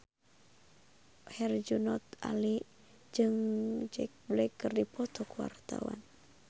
Herjunot Ali jeung Jack Black keur dipoto ku wartawan